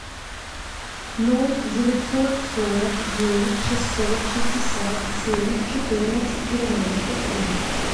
ноль девятьсот сорок девять шестьсот шестьдесят семь четырнадцать девяносто три